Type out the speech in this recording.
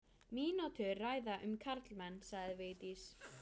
Mínútu ræða um karlmenn, sagði Vigdís.